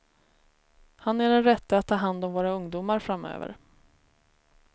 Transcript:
Han är den rätte att ta hand om våra ungdomar framöver.